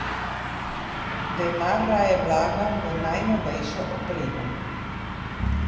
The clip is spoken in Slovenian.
Denar raje vlagam v najnovejšo opremo.